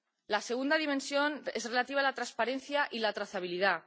La segunda dimensión es relativa a la transparencia y la trazabilidad.